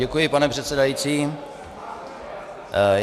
Děkuji, pane předsedající.